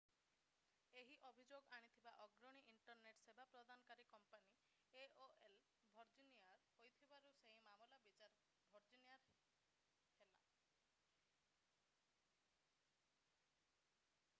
ଏହି ଅଭିଯୋଗ ଆଣିଥିବା ଅଗ୍ରଣୀ ଇଣ୍ଟରନେଟ୍ ସେବା ପ୍ରଦାନକାରୀ କମ୍ପାନୀ aol ଭର୍ଜିନିଆର ହୋଇଥିବାରୁ ସେହି ମାମଲାର ବିଚାର ଭର୍ଜିନିଆରେ ହେଲା